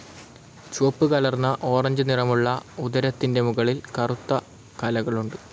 ചുവപ്പ് കലർന്ന ഒറങ്ങേ നിറമുള്ള ഉദരത്തിന്റെ മുകളിൽ കറുത്ത കലകളുണ്ട്.